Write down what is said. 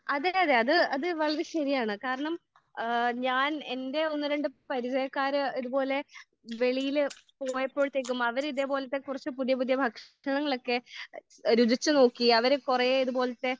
അത് അതെ വളരെ ശരിയാണ്. കാരണം ഏഹ് ഞാൻ എന്റെ ഒന്ന് രണ്ട് പരിജയക്കാര് ഇത് പോലെ വെളിയിൽ പോയപ്പോഴത്തേക്കും അവര് ഇതേ പോലത്തെ കുറച്ച് പുതിയ പുതിയ ഭക്ഷണങ്ങളൊക്കെ രുചിച്ചു നോക്കി. അവര് കൊറേ ഇത് പോലത്തെ